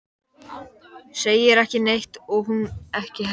Segir ekki neitt og hún ekki heldur.